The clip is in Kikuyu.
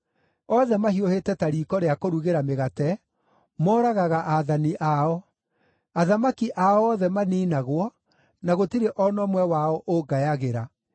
Othe mahiũhĩte ta riiko rĩa kũrugĩra mĩgate; moragaga aathani ao. Athamaki ao othe maniinagwo, na gũtirĩ o na ũmwe wao ũngayagĩra.